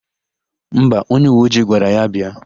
Mba, onyeuweojii gwara ya bịa.